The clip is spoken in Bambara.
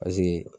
Paseke